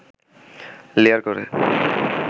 layer করে